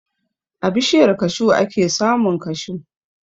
A bishiyar kashu ake samun kashu.